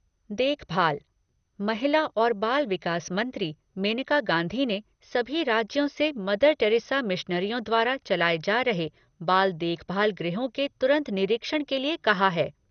देखभाल महिला और बाल विकास मंत्री मेनका गांधी ने सभी राज्यों से मदर टेरेसा मिशनरियों द्वारा चलाये जा रहे बाल देखभाल गृहों के तुरंत निरीक्षण के लिए कहा है।